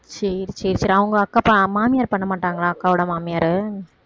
சரி சரி அவங்க மாமியார் பண்ண மாட்டாங்களா அக்காவோட மாமியாரு